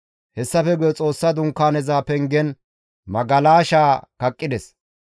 Hessafe guye Xoossa Dunkaaneza pengen magalashaa kaqqides.